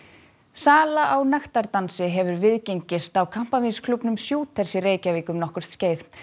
sala á nektardansi hefur viðgengist á kampavínsklúbbnum Shooters í Reykjavík um nokkurt skeið